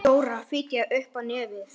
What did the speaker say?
Dóra fitjaði upp á nefið.